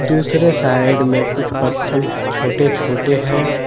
दूसरे साइड में कुछ पत्थल छोटे छोटे है।